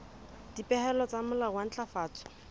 dipehelo tsa molao wa ntlafatso